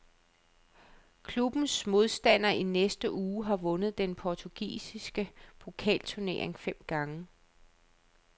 Klubbens modstander i næste uge har vundet den portugisiske pokalturnering fem gange.